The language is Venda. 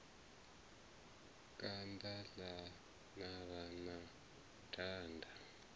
kanda ḽa navha na banda